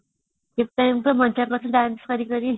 ମଜା ହାଉଥିଲା dance କରି